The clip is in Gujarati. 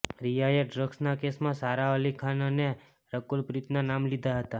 રિયાએ ડ્રગ્સના કેસમાં સારા અલી ખાન અને રકુલ પ્રીતના નામ લીધા હતા